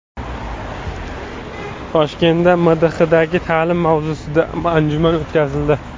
Toshkentda MDHdagi ta’lim mavzusida anjuman o‘tkazildi.